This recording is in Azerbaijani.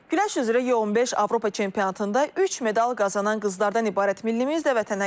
Güləş üzrə U-15 Avropa çempionatında üç medal qazanan qızlardan ibarət millimiz də vətənə qayıdıb.